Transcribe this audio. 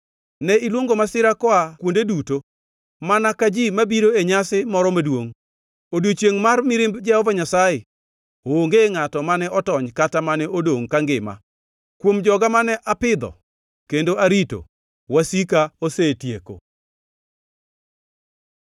Ne iluongo masira koa kuonde duto mana ka ji mabiro e nyasi moro maduongʼ. E odiechiengʼ mar mirimb Jehova Nyasaye onge ngʼato mane otony kata mane odongʼ kangima. Kuom joga mane apidho kendo arito, wasika osetieko.